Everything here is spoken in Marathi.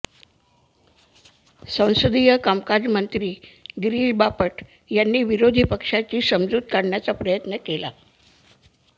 संसदीय कामकाज मंत्री गिरीश बापट यांनी विरोधी पक्षांची समजूत काढण्याचा प्रयत्न केला